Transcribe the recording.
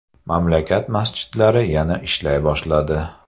Mamlakat masjidlari yana ishlay boshladi .